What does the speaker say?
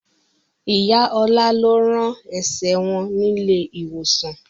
Ìyá Ọlá lọ rán ẹsẹ̀ wọn nílé ìwòsàn